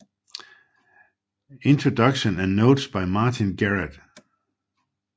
Introduction and notes by Martin Garrett